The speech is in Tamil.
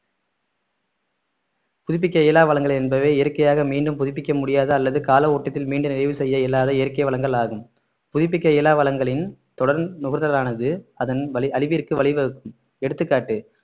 புதுப்பிக்க இயலா வளங்கள் என்பவை இயற்கையாக மீண்டும் புதுப்பிக்க முடியாத அல்லது கால ஓட்டத்தில் மீண்டும் நிறைவு செய்ய இயலாத இயற்கை வளங்கள் ஆகும் புதுப்பிக்க இயலா வளங்களின் தொடர் நுகர்தலானது அதன் வழி~ அழிவிற்கு வழிவகுக்கும் எடுத்துக்காட்டு